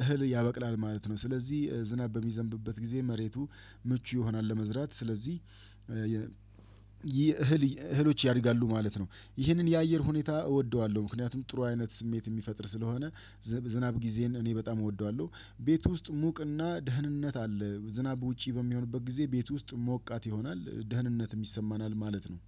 እህል ያበቅላል ማለት ነው። ስለዚህ ዝናብ በሚዘንብበት ጊዜ መሬቱ ምቹ ይሆናል ለመዝራት ስለዚህ የ እህል እህሎች ያድጋሉ ማለት ነው። ይሄንን የአየር ሁኔታ እወደዋለሁ ምክንያቱም ጥሩ አይነት ስሜት እሚፈጥር ስለሆነ ዝናብ ጊዜን እኔ በጣም እወደዋለሁ። ቤት ውስጥ ሙቅና ደህንነት አለ። ዝናብ ውጪ በሚሆንበት ጊዜ ቤት ውስጥ ሞቃት ይሆናል። ደህንነትም ይሰማናል ማለት ነው